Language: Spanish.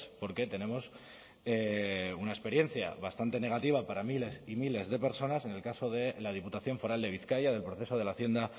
porque tenemos una experiencia bastante negativa para miles y miles de personas en el caso de la diputación foral de bizkaia del proceso de la hacienda